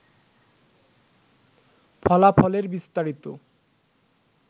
ফলাফলের বিস্তারিত